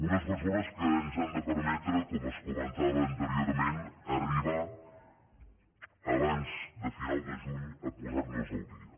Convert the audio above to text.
unes mesures que ens han de permetre com es comentava anteriorment arribar abans de final de juny a posar nos al dia